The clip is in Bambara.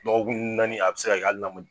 Dɔgɔkun naani a bɛ se ka kɛ hali n'a m